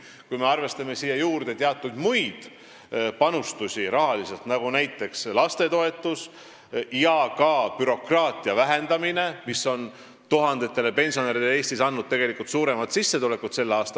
Kui me arvestame siia juurde teatud muid panustusi rahaliselt, nagu lastetoetus ja ka bürokraatia vähendamine, siis see on selle aasta algusest andnud tuhandetele pensionäridele Eestis tegelikult suurema sissetuleku.